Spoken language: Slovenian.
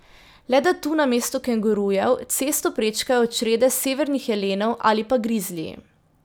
Le da tu namesto kengurujev cesto prečkajo črede severnih jelenov ali pa grizliji.